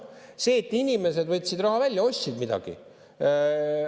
See, et inimesed võtsid raha välja, ostsid midagi.